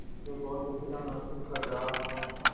जो बहुत अकेला महसूस कर रहा हो